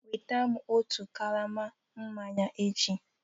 Nweta m otu karama mmanya echi